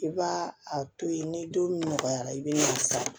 I b'a a to yen ni don min nɔgɔyara i be na san